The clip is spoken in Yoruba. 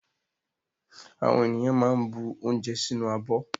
Àwọn ènìyàn máa ń bu oúnjẹ sínú abọ́.